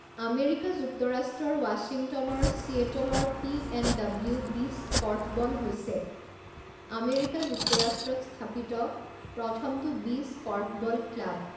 America যুক্তৰাষ্ট্ৰৰ ৱাশ্বিংটনৰ চিয়েটলৰ পি.এন.ডব্লিউ. বিচ কৰ্ফবল হৈছে আমেৰিকা যুক্তৰাষ্ট্ৰত স্থাপিত প্ৰথমটো বিচ কৰ্ফবল ক্লাব।